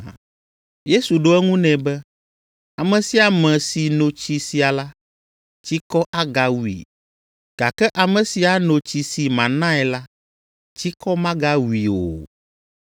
Yesu ɖo eŋu nɛ be, “Ame sia ame si no tsi sia la, tsikɔ agawui, gake ame si ano tsi si manae la, tsikɔ magawui o.